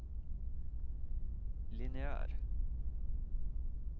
lineær